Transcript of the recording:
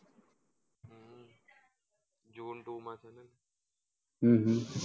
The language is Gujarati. જૂન two માં છે હમ